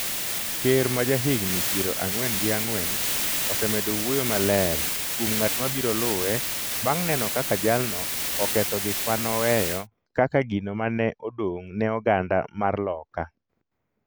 ker majahigni piero ang'wen gi ang'wen osemedo wuoyo maler kuom ng’at ma biro luwe bang’ neno kaka jalno oketho gik ma noweyo kaka gino ma ne odong’ ne oganda mar Loka